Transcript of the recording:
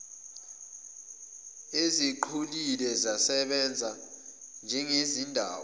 eziqhelile zisasebenza njengezindawo